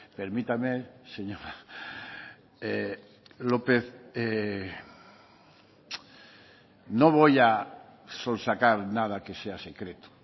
permítame señora lopez no voy a sonsacar nada que sea secreto